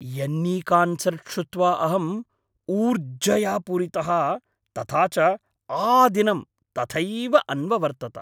यन्नीकान्सर्ट् श्रुत्वा अहम् ऊर्जया पूरितः तथा च आदिनं तथैव अन्ववर्तत।